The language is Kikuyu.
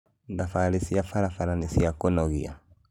Thabarĩ cia barabara nĩ cia kũnogĩa